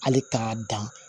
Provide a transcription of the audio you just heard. Hali k'a dan